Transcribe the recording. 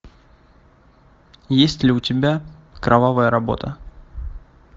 есть ли у тебя кровавая работа